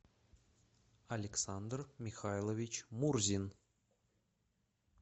александр михайлович мурзин